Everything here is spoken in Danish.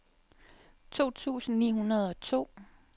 to tusind ni hundrede og to